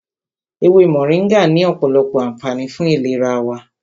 Ewé Mọ̀ríngà ní ọ̀pọ̀lọpọ̀ ànfààní fún ìlera wa.